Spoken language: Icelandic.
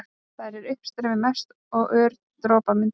Þar er uppstreymi mest og ör dropamyndun.